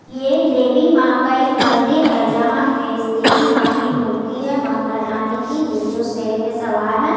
ये देवी माँ का एक मंदिर है जहाँ पे देवी माँ की मूर्ति है मातारानी की जो शेर पे सवार है।